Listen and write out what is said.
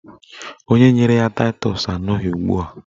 Onye nyere ya taịtọs anọghị ugbua